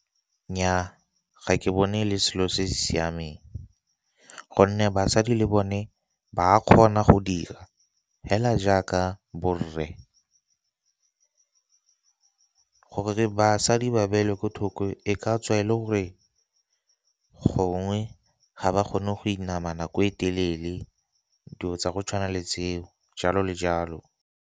Nnyaa ga ke bone le selo se se siameng, gonne basadi le bone ba kgona go dira hela jaaka borre. Gore basadi ba beelwe ko thoko e ka tswa e le gore gongwe ga ba kgone go inama nako e telele, dilo tsa go tshwana le tseo jalo le jalo.